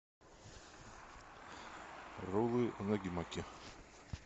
роллы унаги маки